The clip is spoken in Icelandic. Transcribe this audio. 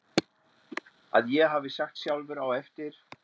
að ég hafi sagt sjálfur á eftir